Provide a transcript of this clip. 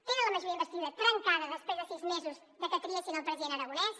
tenen la majoria d’investidura trencada després de sis mesos de que triessin el president aragonès